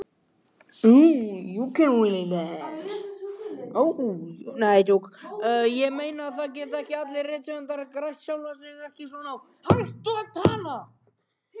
Ég meina, það geta ekki allir rithöfundar grætt sjálfa sig, ekki svona á staðnum.